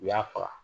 U y'a faga